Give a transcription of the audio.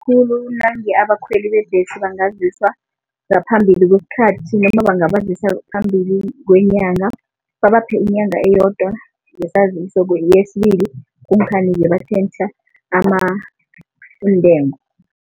Nange abakhweli bebhesi bangaziswa ngaphambili kwesikhathi bangabazisa phambili kwenyanga babaphe inyanga eyodwa ngesaziso batjhentjha iintengo.